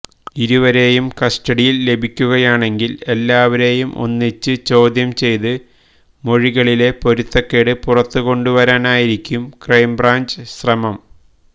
ഇരുവരെയും കസ്റ്റഡിയില് ലഭിക്കുകയാണെങ്കില് എല്ലാവരെയും ഒന്നിച്ച് ചോദ്യം ചെയ്ത് മൊഴികളിലെ പൊരുത്തക്കേട് പുറത്തുകൊണ്ടുവരാനായിരിക്കും ക്രൈംബ്രാഞ്ച് ശ്രമം